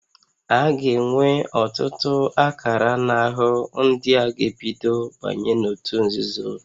A ga-enwe ọtụtụ akara n'ahụ ndị a ga-ebido banye n'òtù nzuzo